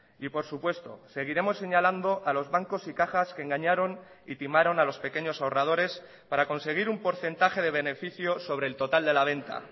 y por supuesto seguiremos señalando a los bancos y cajas que engañaron y timaron a los pequeños ahorradores para conseguir un porcentaje de beneficio sobre el total de la venta